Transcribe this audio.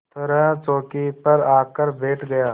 तरह चौकी पर आकर बैठ गया